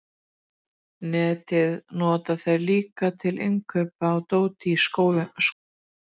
Netið nota þeir líka til innkaupa á dóti í skóinn.